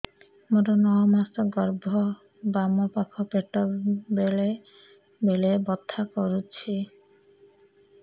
ମୋର ନଅ ମାସ ଗର୍ଭ ବାମ ପାଖ ପେଟ ବେଳେ ବେଳେ ବଥା କରୁଛି